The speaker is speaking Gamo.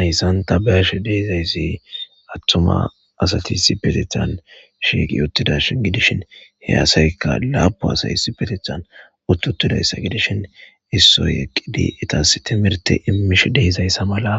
Ayssanta bash deizayssi attuma asati si petethan shiiqi uttidash gidishin he asaykka laabu asay si petethan utt uttidayssa gidishin issoy eqqidi itas timirte immish deeizayssa mala